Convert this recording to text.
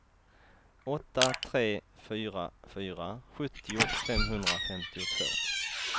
åtta tre fyra fyra sjuttio femhundrafemtiotvå